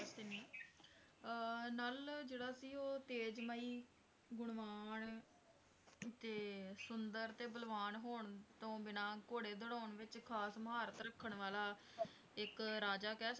ਅਹ ਨਲ ਜਿਹੜਾ ਸੀ ਉਹ ਤੇਜ਼ਮਯੀ ਗੁਣਵਾਨ ਤੇ ਸੁੰਦਰ ਤੇ ਬਲਵਾਨ ਹੋਣ ਤੋਂ ਬਿਨਾ ਘੋੜੇ ਦੋਧਾਉਂ ਵਿਚ ਖਾਸ ਮਹਾਰਤ ਰੱਖਣ ਵਾਲਾ ਰਾਜਾ ਕਹਿ ਸਕਦੇ ਹੋ